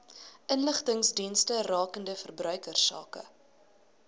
inligtingsdienste rakende verbruikersake